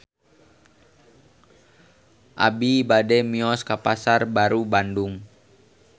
Abi bade mios ka Pasar Baru Bandung